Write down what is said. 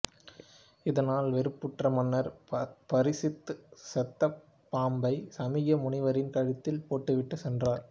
இதனால் வெறுப்புற்ற மன்னர் பரிசித்து சொத்தப் பாம்பை சமீக முனிவரின் கழுத்தில் போட்டுவிட்டு சென்றான்